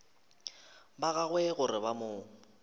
ba gagwe gore ba mo